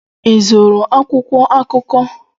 Ị zụrụ akwụkwọ akụkọ